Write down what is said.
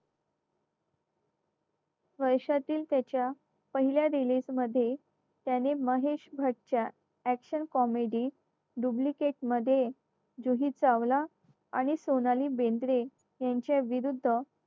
वर्षातील त्याच्या पहिल्या release मध्ये त्याने महेश भटच्या action comedy duplicate मध्ये जुही चावला आणि सोनाली बेंद्रे यांच्या विरुद्ध